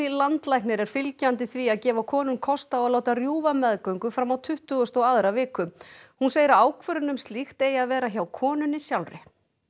landlæknir er fylgjandi því að gefa konum kost á að láta rjúfa meðgöngu fram á tuttugustu og aðra viku hún segir að ákvörðun um slíkt eigi að vera hjá konunni sjálfri